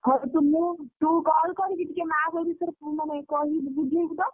ହଉ ତୁ ମୁଁ ତୁ call କରିକି ଟିକେ ମାଆକୁ ଏ ବିଷୟରେ ମାନେ କହି ବୁଝେଇବୁ ତ।